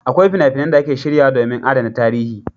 Akwai fina-finan da ake shiryawa domin adana tarihi.